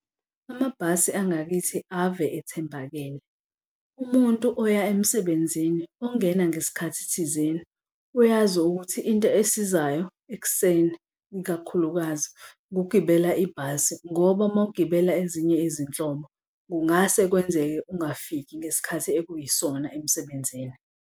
Amabhasi angakithi ave ethembakele. Umuntu oya emsebenzini ongena ngesikhathi thizeni, uyazi ukuthi into esizayo ekuseni ikakhulukazi ukugibela ibhasi, ngoba mawugibela ezinye izinhlobo, kungase kwenzeke ungafiki ngesikhathi ekuyisona emsebenzini.